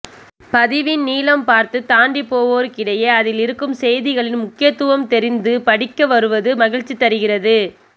பதிவின் நீளம் பார்த்து தாண்டிப் போவோருக்கிடையே அதில் இருக்கும் செய்திகளின் முக்கியத்துவம்தெரிந்துபடிக்க வருவது மகிழ்ச்சி தருகிறது